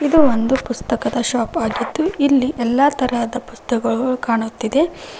ಇದು ಒಂದು ಪುಸ್ತಕದ ಶಾಪ ಆಗಿದ್ದು ಇಲ್ಲಿ ಎಲ್ಲಾ ತರಹದ ಪುಸ್ತಕಗಳು ಕಾಣುತ್ತಿದೆ.